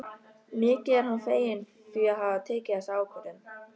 Mikið er hann feginn því að hafa tekið þessa ákvörðun.